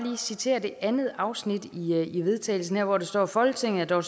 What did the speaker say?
citere andet afsnit i vedtagelsen hvor der står at folketinget dog